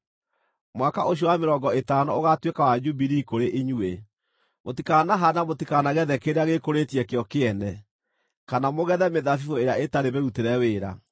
Mwaka ũcio wa mĩrongo ĩtano ũgaatuĩka wa Jubilii kũrĩ inyuĩ; mũtikanahaande na mũtikanagethe kĩrĩa gĩĩkũrĩtie kĩo kĩene, kana mũgethe mĩthabibũ ĩrĩa ĩtarĩ mĩrutĩre wĩra.